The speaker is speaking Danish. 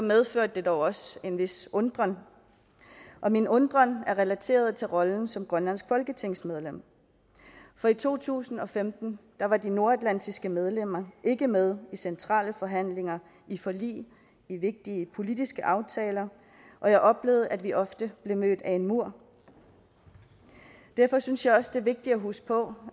medførte det dog også en vis undren og min undren er relateret til rollen som grønlandsk folketingsmedlem for i to tusind og femten var de nordatlantiske medlemmer ikke med i centrale forhandlinger i forlig i vigtige politiske aftaler og jeg oplevede at vi ofte blive mødt af en mur derfor synes jeg også det er vigtigt at huske på